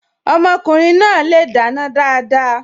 Ọmọkùnrin náà le dáná dáadáa.